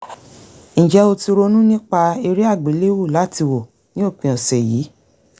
ǹjẹ́ o ti ronú nípa eré àgbéléwò láti wò ní òpin ọ̀sẹ̀ yìí?